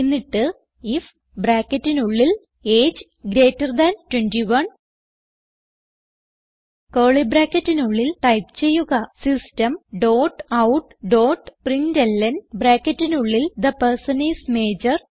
എന്നിട്ട് ഐഎഫ് ബ്രാക്കറ്റിനുള്ളിൽ age greater than 21 curly ബ്രാക്കറ്റിനുള്ളിൽ ടൈപ്പ് ചെയ്യുക system dot out dot println ബ്രാക്കറ്റിനുള്ളിൽ തെ പെർസൻ ഐഎസ് മജോർ